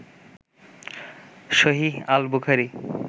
সহীহ আল বুখারী